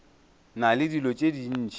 na le dilo tše dintši